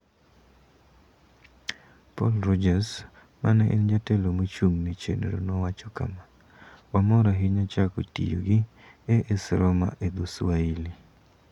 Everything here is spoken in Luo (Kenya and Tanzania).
Paul Rogers, ma en jatelo mochung' ne chenro nowacho kama: "Wamor ahinya chako tiyo gi AS Roma e dho Swahili.